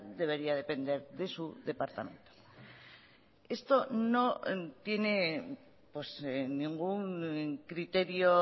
debería depender de su departamento esto no tiene ningún criterio